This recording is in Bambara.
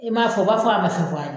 I m'a fɔ , u b'a fɔ a ma se fɔlɔ